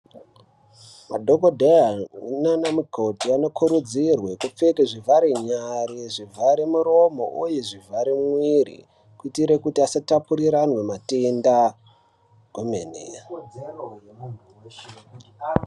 Madhokodheya nana mukoti anokurudzirwe kupfeke zvivhare nyari zvivhare muromo uye zvivhare mwiri kute kuti asatapuriranwe matenda kwemene